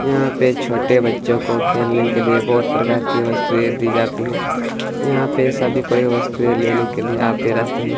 यहाँ पे छोटे बच्चो को खेलने के लिए बहुत प्रकार की वस्तुए दी जाती हैयहाँ पे सभी कोई वस्तुए लेने के लिए आते रहते है ।